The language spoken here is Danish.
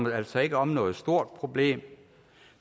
altså ikke om noget stort problem